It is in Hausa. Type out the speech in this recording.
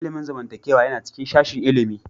Ilimin zamantakewa yana cikin sashin ilimi